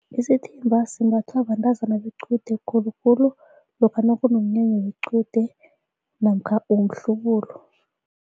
Isithimba simbathwa bantazana bequde khulukhulu lokha nakunomnyanya wequde namkha womhlubulo.